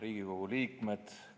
Riigikogu liikmed!